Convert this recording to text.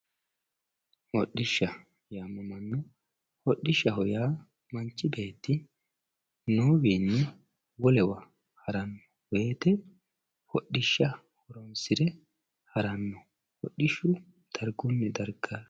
Hodhisha yaamamanno, hodhishaho yaa manchi beeti noowinni wolewa harano woyite hodhisha assire harano, hodhishu darigunni dariga